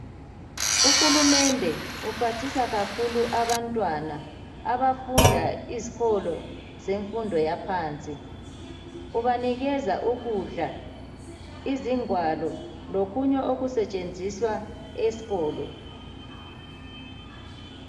Uhulumende uphathisa kakhulu abantwana abafunda izikolo zemfundo yaphansi ubanikeza ukudla, izingwalo lokunye okusetshenziswa esikolo